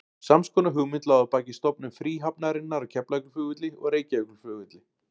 Sams konar hugmynd lá að baki stofnun fríhafnarinnar á Keflavíkurflugvelli og Reykjavíkurflugvelli.